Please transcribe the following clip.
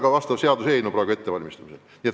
Sellekohane seaduseelnõu on praegu ettevalmistamisel.